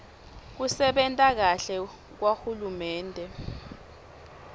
kusebenta kahle kwahulumende